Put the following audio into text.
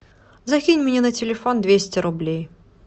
закинь мне на телефон двести рублей